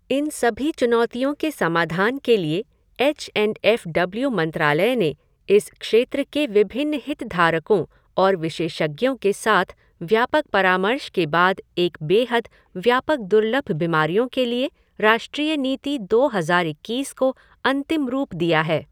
इन सभी चुनौतियों के समाधान के लिए एच एंड एफ़ डब्ल्यू मंत्रालय ने इस क्षेत्र के विभिन्न हितधारकों और विशेषज्ञों के साथ व्यापक परामर्श के बाद एक बेहद व्यापक दुर्लभ बीमारियों के लिए राष्ट्रीय नीति दो हज़ार इक्कीस को अंतिम रूप दिया है।